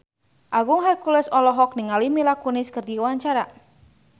Agung Hercules olohok ningali Mila Kunis keur diwawancara